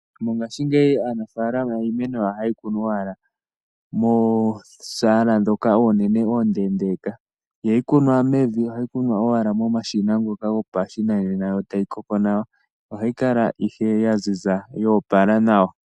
Mongaashingeyi aanafalama iimeno ohaye yi kunu owala moosala ndhoka onene oondendeeka, ihayi kunwa mevi. Ohayi kunwa owala momashina ngoka gopashinanena yo tayi koko nawa. Ohayi kala ihe ya ziza ya opala nawa.